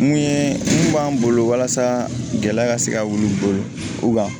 Mun ye mun b'an bolo walasa gɛlɛya ka se ka wuli u bolo